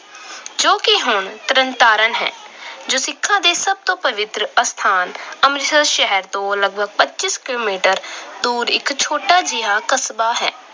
ਜੋ ਕਿ ਹੁਣ ਤਰਨਤਾਰਨ ਹੈ। ਸਿੱਖਾਂ ਦੇ ਸਭ ਤੋਂ ਪਵਿੱਤਰ ਅਸਥਾਨ ਅੰਮ੍ਰਿਤਸਰ ਸ਼ਹਿਰ ਤੋਂ ਲਗਭਗ ਪੱਚੀ ਕਿਲੋਮੀਟਰ ਦੂਰ ਇੱਕ ਛੋਟਾ ਜਿਹਾ ਕਸਬਾ ਹੈ।